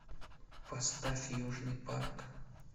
поставь южный парк